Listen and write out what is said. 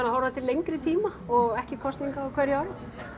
að horfa til lengri tíma og ekki hafa kosningar á hverju ári